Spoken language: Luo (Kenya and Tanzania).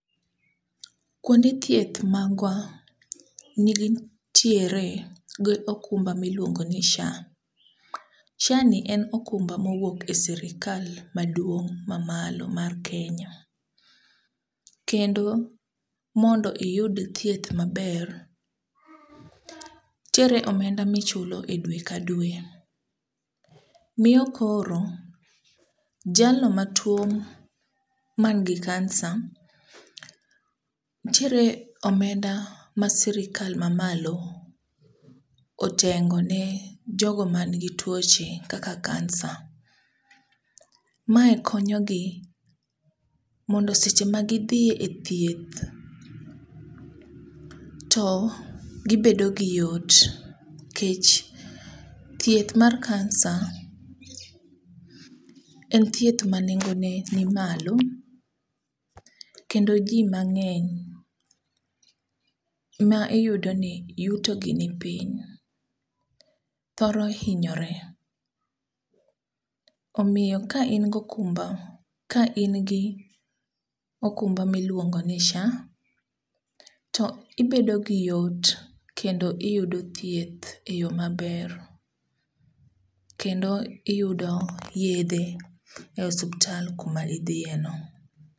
Kwonde thieth magwa nitiere gi okumba miluongo ni SHA, SHA ni okumba mowuok e sirikal maduong' mamalo mar Kenya, kendo mondo iyud thieth maber, nitiere omenda michulo dwe ka dwe, miyo koro jalno matuwo manigi kansa, nitiere omenda ma sirikal mamalo otengo ni jogo manigi tuoche kaka kansa. Mae konyogi mondo seche ma gidhi e thieth, to gibedo gi yot nikech thieth mar kansa en thieth ma nengone ni malo kendo ji mang'eny ma iyudoni yutogi nipiny thoro hinyore. Omiyo ka in gokumba, ka in gi okumba miluongoni SHA, to ibedo gi yot kendo iyudo thieth e yo maber, kendo iyudo yedhe e osuptal kuma idhiyeno.